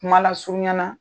Kuma lasurunya na